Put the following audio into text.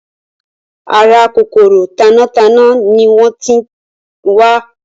Ara kòkòrò tanátaná ni wọ́n ti ń wá.